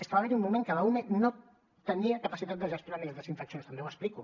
és que va haver hi un moment que l’ume no tenia capacitat de gestionar més desinfeccions també ho explico